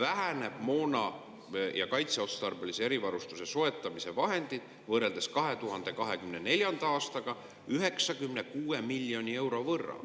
vähenevad moona ja kaitseotstarbelise erivarustuse soetamise vahendid kaitseotstarbelise erivarustuse rea peal võrreldes 2024. aastaga 96 miljoni euro võrra?